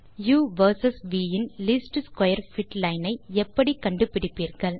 உ வெர்சஸ் வி இன் லீஸ்ட் ஸ்க்வேர் பிட் லைன் ஐ எப்படி கண்டுபிடிப்பீர்கள்